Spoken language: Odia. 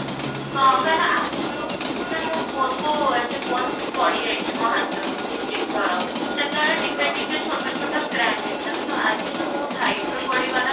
ହଁ, କାହିଁକି ନା ଆଗରୁ ସେ ମୋ phone କୁ ଏମିତି phone ପଡି ଯାଇଛି ମୋ ହାତରୁ ଦୁଇ ତିନ ଥର ସେତେବେଳେ ଟିକେ ଟିକେ ଛୋଟ ଛୋଟ scratch ହେଇଥିଲା କିନ୍ତୁ ଆଜି ଯୋଉ ବହୁତ height ରୁ ପଡିଗଲା